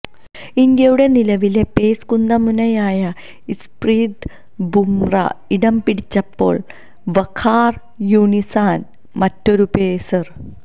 ഇന്ത്യയുടെ നിലവിലെ പേസ് കുന്തമുനയായ ജസ്പ്രീത് ബുമ്ര ഇടംപിടിച്ചപ്പോള് വഖാര് യൂനിസാണ് മറ്റൊരു പേസര്